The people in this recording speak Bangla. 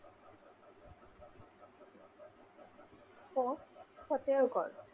ফোর্টফতেও গড়